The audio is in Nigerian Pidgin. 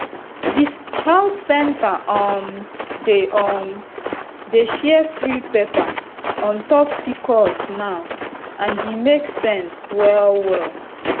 the health center um dey um dey share free paper on top pcos now and e make sense well well